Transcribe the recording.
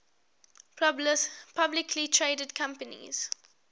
publicly traded companies